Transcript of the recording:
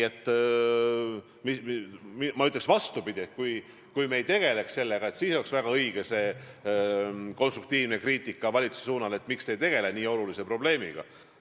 Ma ütleksin vastupidi: kui me ei tegeleks sellega, siis oleks väga õige teha konstruktiivset kriitikat valitsuse pihta, et miks me ei tegele nii olulise probleemiga.